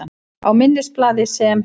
Á minnisblaði, sem